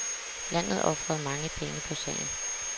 Landet ofrede mange penge på sagen.